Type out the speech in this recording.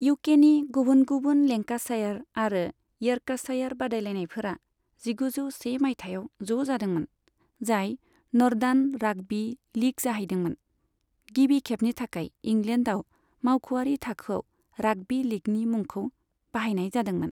इउकेनि गुबुन गुबुन लेंकाशायार आरो इयर्कशायार बादायलायनायफोरा जिगुजौ से मायथाइयाव ज' जादोंमोन, जाय नर्दान राग्बी लीग जाहैदोंमोन, गिबि खेबनि थाखाय इंलेन्डाव मावख'आरि थाखोआव राग्बी लीगनि मुंखौ बाहायनाय जादोंमोन।